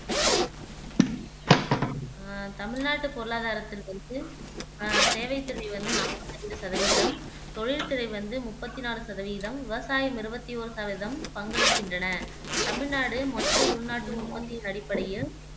ஆஹ் தமிழ்நாட்டுப் பொருளாதாரத்துல வந்து அஹ் சேவை அஹ் வந்து நாப்பத்து அஞ்சு சதவீதம் தொழில் துறை வந்து முப்பத்தி நாலு சதவீதம், விவசாயம் இருவத்தி ஓரு பங்களிக்கின்றன. தமிழ்நாடு மொத்த உள்நாட்டு உற்பத்தியின் அடிப்படையில்